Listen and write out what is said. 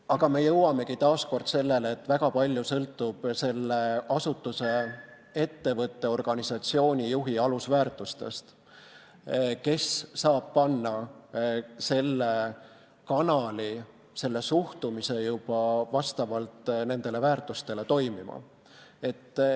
Aga me jõuamegi taas selleni, et väga palju sõltub asutuse, ettevõtte, organisatsiooni juhi alusväärtustest, kes saab panna selle kanali, selle suhtumise juba vastavalt nendele väärtustele toimima.